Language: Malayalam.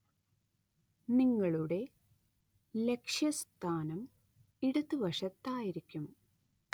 നിങ്ങളുടെ ലക്ഷ്യസ്ഥാനം ഇടതുവശത്തായിരിക്കും.